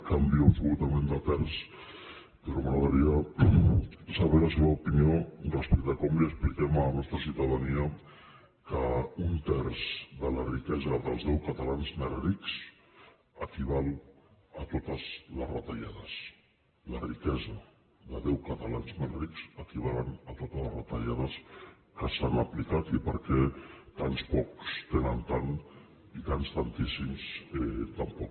canvio absolutament de terç però m’agradaria saber la seva opinió respecte a com li expliquem a la nostra ciutadania que un terç de la riquesa dels deu catalans més rics equival a totes les retallades la riquesa de deu catalans més rics equival a totes les retallades que s’han aplicat i per què tants pocs tenen tant i tants tantíssims tan poc